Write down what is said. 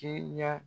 Teriya